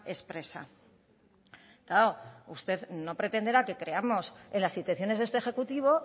expresa claro usted no pretenderá que creamos en las intenciones de este ejecutivo